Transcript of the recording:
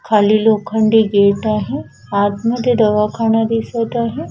खाली लोखंडी गेट आहे आतमध्ये दवाखाना दिसत आहे.